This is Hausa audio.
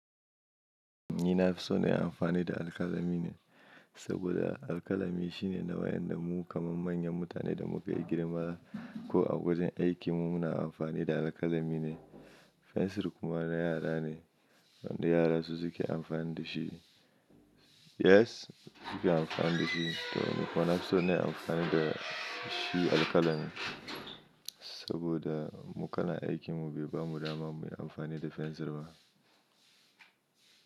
Ni na fi so na yi amfani da alkalami ne, saboda alkalami shine nawayan da mu kaman manyan mutane da muka yi girma ko a wajen aikin mu muna amfani da alkalami ne. Fensir kuma na yara ne, wanda yara su suke amfani da shi. Yes suke amfani da shi, to ni kuma na fi so na yi amfani da shi alkalami, saboda mu kalan aikin mu bai bamu dama mu yi amfani da fensir ba.